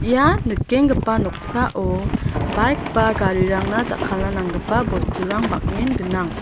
ia nikenggipa noksao baik ba garirangna jakkalna nanggipa bosturang bang·en gnang.